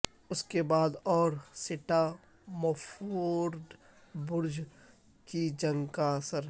اس کے بعد اور سٹامفورڈ برج کی جنگ کا اثر